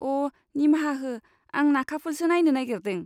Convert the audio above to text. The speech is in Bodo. अ, निमाहा हो, आं नाखाफुलसो नायनो नागेरदों।